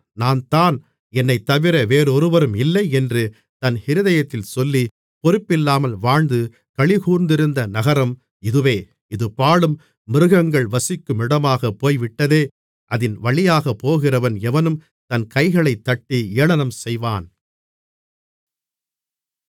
நான்தான் என்னைத் தவிர வெறொருவரும் இல்லை என்று தன் இருதயத்தில் சொல்லி பொறுப்பில்லாமல் வாழ்ந்து களிகூர்ந்திருந்த நகரம் இதுவே இது பாழும் மிருகங்கள் வசிக்குமிடமாகப் போய்விட்டதே அதின் வழியாகப் போகிறவன் எவனும் தன் கைகளைத்தட்டி ஏளனம் செய்வான்